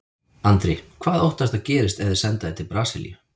Andri: Hvað óttastu að gerist ef þeir senda þig til Brasilíu?